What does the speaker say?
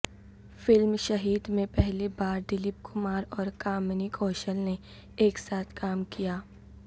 film Shaheed میں پہلی بار دلیپ کمار اور کامنی کوشل نے ایک ساتھ کام کیا